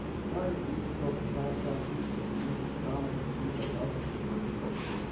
Kaj je tisto, kar ta hip kot mlinski kamen visi za vratom izvoznikov?